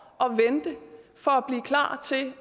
og vente for at blive klar